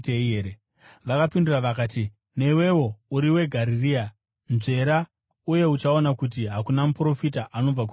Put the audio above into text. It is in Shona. Vakapindura vakati, “Newewo uri weGarirea? Nzvera, uye uchaona kuti hakuna muprofita anobva kuGarirea.”